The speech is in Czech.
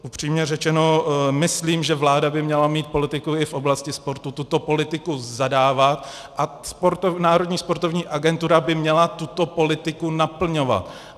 Upřímně řečeno, myslím, že vláda by měla mít politiku i v oblasti sportu, tuto politiku zadávat a Národní sportovní agentura by měla tuto politiku naplňovat.